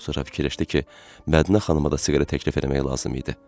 Sonra fikirləşdi ki, Mədinə xanıma da siqaret təklif eləmək lazım idi.